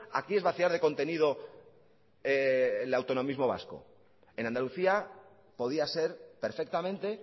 aquí es vaciar de contenido el autonomismo vasco en andalucía podía ser perfectamente